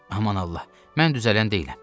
Aman Allah, mən düzələn deyiləm.